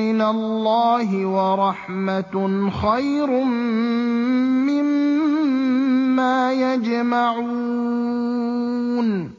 مِّنَ اللَّهِ وَرَحْمَةٌ خَيْرٌ مِّمَّا يَجْمَعُونَ